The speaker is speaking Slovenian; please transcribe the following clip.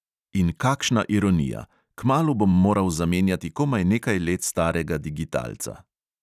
In kakšna ironija: kmalu bom moral zamenjati komaj nekaj let starega digitalca.